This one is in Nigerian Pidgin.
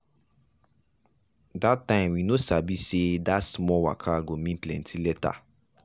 that time we no sabi say that small waka go mean plenty later.